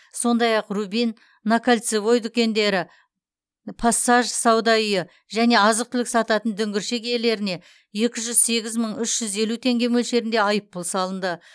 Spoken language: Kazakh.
сондай ақ рубин на кольцевой дүкендері пассаж сауда үйі және азық түлік сататын дүңгіршек иелеріне екі жүз сегіз мың үш жүз елу теңге мөлшерінде айыппұл салынды